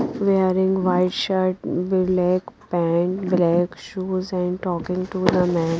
Wearing white shirt black pant black shoes and talking to the man.